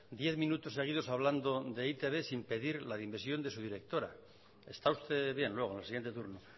diez minutos seguidos hablando de e i te be sin pedir la dimisión de su directora está usted bien luego en el siguiente turno